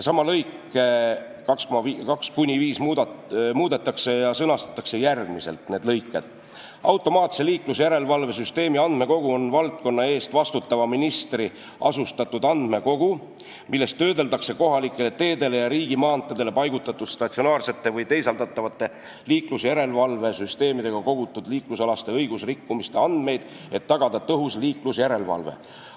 Samad lõiked 2–5 sõnastatakse järgmiselt: "Automaatse liiklusjärelevalve süsteemi andmekogu on valdkonna eest vastutava ministri asutatud andmekogu, milles töödeldakse kohalikele teedele ja riigimaanteedele paigaldatud statsionaarsete või teisaldatavate liiklusjärelevalve süsteemidega kogutud liiklusalaste õigusrikkumiste andmeid, et tagada tõhus liiklusjärelevalve.